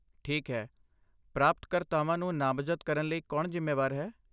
ਠੀਕ ਹੈ, ਪ੍ਰਾਪਤਕਰਤਾਵਾਂ ਨੂੰ ਨਾਮਜ਼ਦ ਕਰਨ ਲਈ ਕੌਣ ਜ਼ਿੰਮੇਵਾਰ ਹੈ?